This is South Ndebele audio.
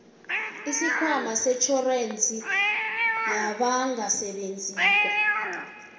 isikhwama setjhorensi yabangasebenziko